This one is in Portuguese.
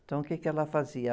Então, o quê que ela fazia?